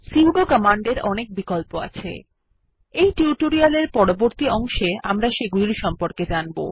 sudo command এর অনেক বিকল্প আছে এই টিউটোরিয়াল এর পরবর্তী অংশে আমরা সেগুলির সম্পর্কে জানব